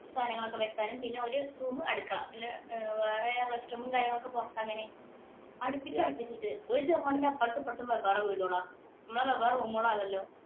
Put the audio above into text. സാധനങ്ങളൊക്കെ വെക്കാനും പിന്നെ ഒരു room അടുക്കള. വേറെ rest room ഉം കാര്യങ്ങളും ഒക്കെ പുറത്ത് അങ്ങനെ. അടുപ്പിച്ച് അടുപ്പിച്ച് ഒരു ചൊമരിന്‍റെ അപ്പുറവും ഇപ്പുറവും വെവ്വേറെ വീടുകളാ. നമ്മള് വെവ്വേറെ room ഉകളാണല്ലോ.